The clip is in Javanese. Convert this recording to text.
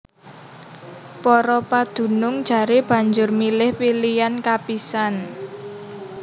Para padunung jaré banjur milih pilihan kapisan